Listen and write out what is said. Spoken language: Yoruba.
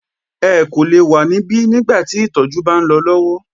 Ẹ kò lè wa níbí nígbà tí ìtọjú bá ń lọ lọwọ!